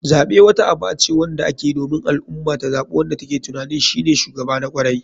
Zaɓe wata aba ce wanda akeyi domin al ummah ta zaɓi wanda take tuanin shine shugaba na kwarai.